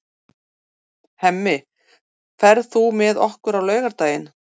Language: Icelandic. Hemmi, ferð þú með okkur á laugardaginn?